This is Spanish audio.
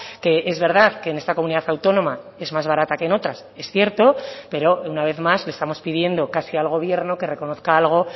que es verdad que en esta comunidad autónoma es más barata que en otras es cierto pero una vez más le estamos pidiendo casi al gobierno que reconozca algo